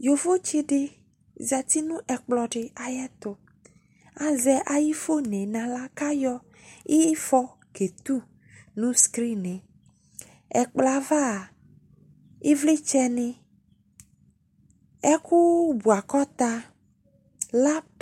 Yovotse de zati no ɛkplɔ de ayeto Azɛ aye fon no ala ko ayɔ ifɔ ke tu no skrine Ɛkplɔ ava evletsɛ ne, ɛku buakota , lap